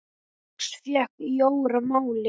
Þá loks fékk Jóra málið.